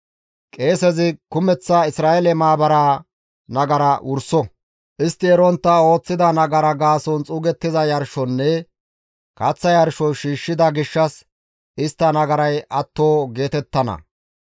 Qeesezi kumeththa Isra7eele maabaraa nagara wurso; istti erontta ooththida nagara gaason xuugettiza yarshonne kaththa yarsho shiishshida gishshas istta nagaray atto geetettana.